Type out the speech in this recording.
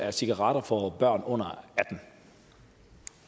af cigaretter for børn under atten